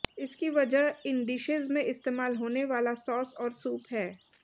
इसकी वजह इन डिशेज में इस्तेमाल होने वाला सॉस और सूप है